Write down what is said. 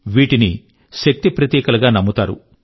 వీటిని శక్తి ప్రతీకలు గా నమ్ముతారు